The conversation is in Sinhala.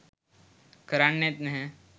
කරන්නෙත් නැහැ.